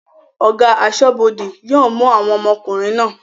Ọ̀gá aṣọ́bọdè yóò mú àwọn ọmọkùnrin náà